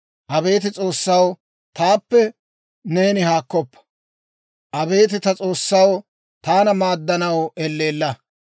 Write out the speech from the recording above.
Abeet S'oossaw, taappe neeni haakkoppa. Abeet ta S'oossaw, taana maaddanaw elleella.